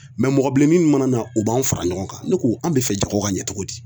mɔgɔ bilennin mun mana na u b'an fara ɲɔgɔn kan .Ne ko an be fɛ jago ka ɲɛ cogo di.